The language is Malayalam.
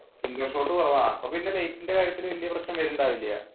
indoor shots കുറവാ അപ്പൊ ലൈറ്റിന്റെ കാര്യത്തിൽ വല്യ പ്രശ്നം വരുന്നുണ്ടാവില്ല.